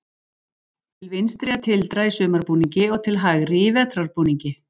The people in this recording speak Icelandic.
Til vinstri er tildra í sumarbúningi og til hægri í vetrarbúningi